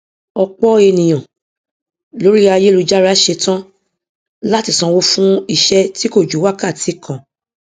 ọpọ ènìyàn lórí ayélujára ṣetán láti sanwó fún iṣẹ tí kò ju wákàtí kan